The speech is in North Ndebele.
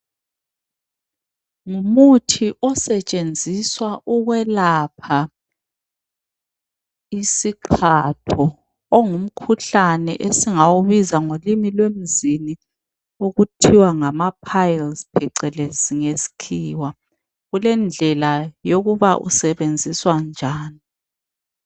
Ngumuthi osetshenziswa ukwelapha isiqhatho ongumkhuhlane esingawubiza ngolimi lwemzini okuthiwa ngama piles phecelezi ngesikhiwa kulendlela yokuba usebenziswa njani